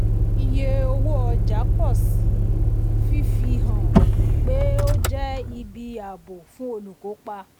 iye owó ọjà pọ̀ síi fifi um hàn pé ó jẹ́ ibi um ààbò fún olùkópa. um